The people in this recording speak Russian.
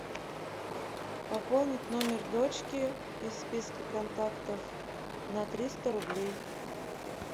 пополнить номер дочки из списка контактов на триста рублей